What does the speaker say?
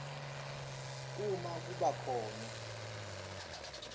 uma kuba khona